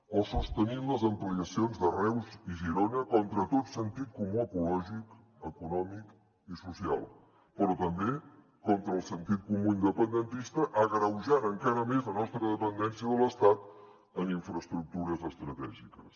o sostenint les ampliacions de reus i girona contra tot sentit comú ecològic econòmic i social però també contra el sentit comú independentista agreujant encara més la nostra dependència de l’estat en infraestructures estratègiques